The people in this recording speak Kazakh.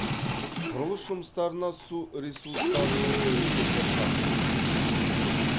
құрылыс жұмыстарына су ресурстарының комитеті тапсырыс берген болатын